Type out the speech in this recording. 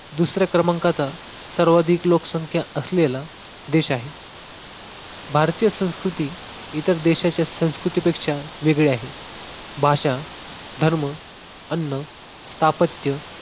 दुसऱ्या क्रमांकाचा सर्वाधिक लोकसंख्या असलेला देश आहे. भारतीय संस्कृती इतर देशाच्या संस्कृतीपेक्षा वेगळी आहे. भाषा, धर्म, अन्न, स्थापत्य